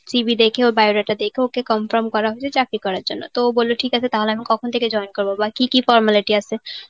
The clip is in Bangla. ওর CV দেখে ওর bio data দেখে ওকে confirm করা হয়েছে চাকরি করার জন্য. তো ও বলল ঠিক আছে তাহলে আমি কখন থেকে join করবো? বা কি কি formality আছে?